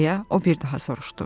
Deyə o bir daha soruşdu.